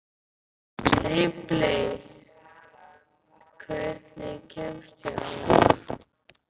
Ripley, hvernig kemst ég þangað?